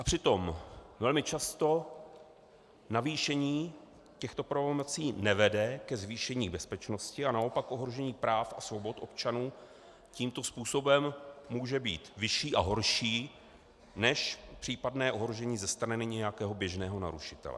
A přitom velmi často navýšení těchto pravomocí nevede ke zvýšení bezpečnosti, ale naopak ohrožení práv a svobod občanů tímto způsobem může být vyšší a horší než případné ohrožení ze strany nějakého běžného narušitele.